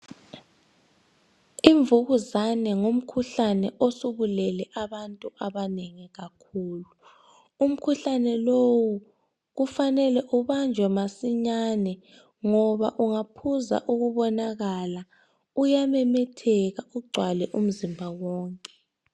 Imvukuzane ngumkhuhlane osubulele abantu abanengi kakhulu umkhuhlane lowu kufanele ubanjwe masinyane ngoba ungaphuza ukubonakala uyamemetheka ugcwale umzimba wonke